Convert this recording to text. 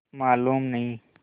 मालूम नहीं